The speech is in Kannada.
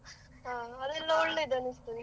ಹಾ, ಅಲ್ಲಿ ಎಲ್ಲ ಒಳ್ಳೆದು ಅನ್ನಿಸ್ತದೆ.